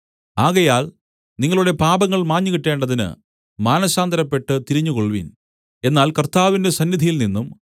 ആകയാൽ നിങ്ങളുടെ പാപങ്ങൾ മാഞ്ഞുകിട്ടേണ്ടതിന് മാനസാന്തരപ്പെട്ട് തിരിഞ്ഞുകൊൾവിൻ എന്നാൽ കർത്താവിന്റെ സന്നിധിയിൽനിന്നും